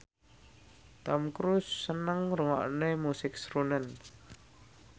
Tom Cruise seneng ngrungokne musik srunen